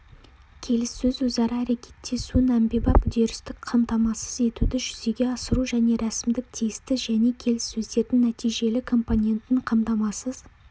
келіссөз өзара әрекеттесуін әмбебап үдерістік қамтамасыз етуді жүзеге асыру және рәсімдік-тиісті және келіссөздердің нәтижелі компонентін қамтамасыз